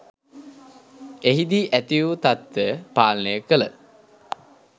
එහිදී ඇති වු තත්ත්වය පාලනය කළ